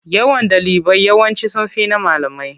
Yawan ɗalibai yawanci sun fi na malamai.